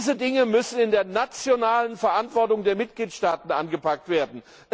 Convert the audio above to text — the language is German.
Diese Dinge müssen in der nationalen Verantwortung der Mitgliedstaaten angepackt werden.